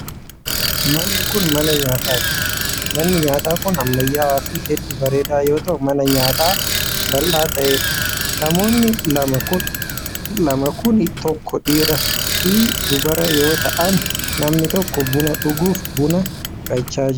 Manni kun, mana nyaataa dha. Manni nyaataa kun ammayyawaa fi hedduu bareedaa yoo ta'u, mana nyaataa bal'aa ta'ee dha. Namoonni lama kun tokko dhiira fi dubara ta'an yoo ta'an, namni tokko buna dhuguuf buna fudhachaa jira.